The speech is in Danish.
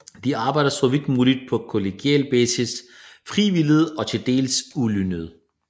De arbejdede så vidt muligt på kollegial basis frivilligt og til dels ulønnet